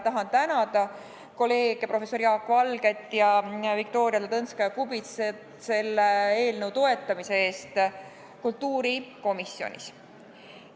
Tahan tänada kolleeg professor Jaak Valget ja Viktoria Ladõnskaja-Kubitsat selle eelnõu toetamise eest kultuurikomisjonis.